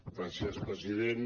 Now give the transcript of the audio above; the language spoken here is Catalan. gràcies president